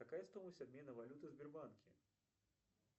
какая стоимость обмена валюты в сбербанке